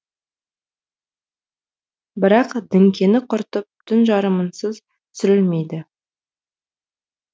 бірақ діңкені құртып түн жарымынсыз түсірілмейді